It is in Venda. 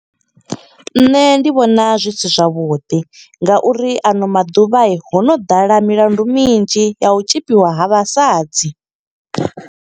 Nṋe ndi vhona zwi si zwavhuḓi nga uri ano maḓuvha, ho no ḓala milandu midzhi ya u tzhipiwa ha vhasadzi.